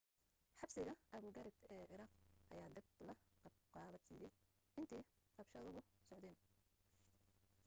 xabsiga abu gharib ee ciraaq ayaa dab la qabadsiiyay intii rabshaduhu socdeen